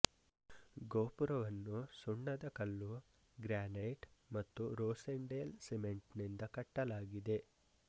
ಗೋಪುರವನ್ನು ಸುಣ್ಣದಕಲ್ಲು ಗ್ರ್ಯಾನೈಟ್ ಮತ್ತು ರೋಸೆಂಡೇಲ್ ಸಿಮೆಂಟ್ ನಿಂದ ಕಟ್ಟಲಾಗಿದೆ